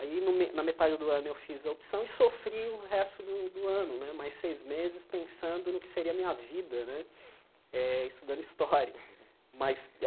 Aí, no na metade do ano, eu fiz a opção e sofri o resto do do ano né, mais seis meses, pensando no que seria a minha vida né eh, estudando História. Mas